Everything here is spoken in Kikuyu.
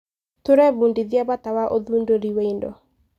Tũrebundithia bata wa ũthundũri wa indo.